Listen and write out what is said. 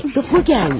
Mektubu gəlmiş.